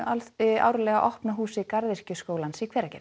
árlega opna húsi Garðyrkjuskólans í Hveragerði